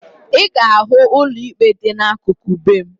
Ị ga-ahụ ụlọ ikpe dị n'akụkụ be m